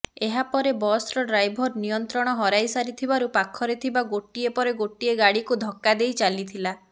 ଏହାପରେ ବସର ଡ୍ରାଇଭର ନିୟନ୍ତ୍ରଣ ହରାଇସାରିଥିବାରୁ ପାଖରେ ଥିବା ଗୋଟିଏ ପରେ ଗୋଟିଏ ଗାଡ଼ିକୁ ଧକ୍କା ଦେଇ ଚାଲିଥିଲା